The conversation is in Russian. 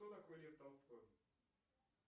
кто такой лев толстой